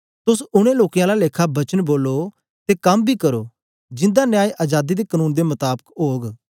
तोस उनै लोकें आला लेखा वचन बोलो ते कम बी करो जिंदा न्याय अजादी दे कनून दे मताबक ओग